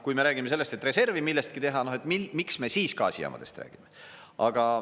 Kui me räägime sellest, et reservi millestki teha, et miks me siis gaasijaamadest räägime.